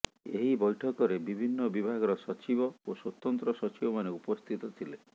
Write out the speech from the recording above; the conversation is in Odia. ଏହି ବୈଠକରେ ବିଭିନ୍ନ ବିଭାଗର ସଚିବ ଓ ସ୍ୱତନ୍ତ୍ର ସଚିବମାନେ ଉପସ୍ଥିତ ଥିଲେ